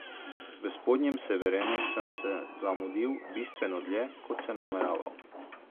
V Spodnjem Severenu sem se zamudil bistveno dlje, kot sem nameraval.